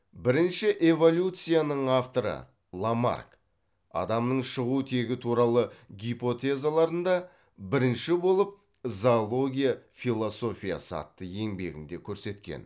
бірінші эволюцияның авторы ламарк адамның шығу тегі туралы гипотезаларында бірінші болып зоология философиясы атты еңбегінде көрсеткен